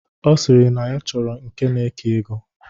Ọ sịrị na ya chọrọ nke na-eke ego.